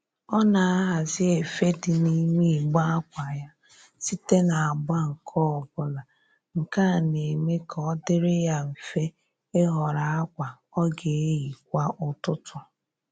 Ọ na-ahazi efe dị n'ime igbe akwa ya site n'agba nke ọbụla, nke a na-eme ka ọ dịrị ya mfe ịhọrọ akwa ọ ga-eyi kwa ụtụtụ